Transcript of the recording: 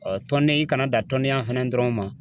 tɔnden i kana dan tɔndenya fana dɔrɔn ma.